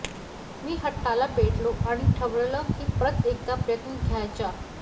मी हट्टाला पेटलो आणि ठरवलं कि परत एकदा प्रयत्न द्यायचा